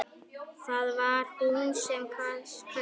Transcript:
Það var hún sem kaus!